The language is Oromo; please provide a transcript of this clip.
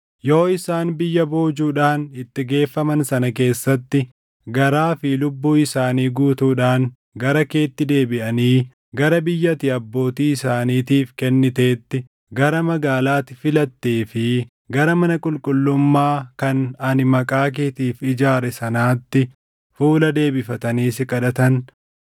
yoo isaan biyya boojuudhaan itti geeffaman sana keessatti garaa fi lubbuu isaanii guutuudhaan gara keetti deebiʼanii, gara biyya ati abbootii isaaniitiif kenniteetti, gara magaalaa ati filattee fi gara mana qulqullummaa kan ani Maqaa keetiif ijaare sanaatti fuula deebifatanii si kadhatan,